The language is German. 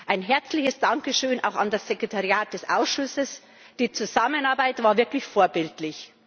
Ein herzliches Dankeschön auch an das Sekretariat des Ausschusses die Zusammenarbeit war wirklich vorbildlich.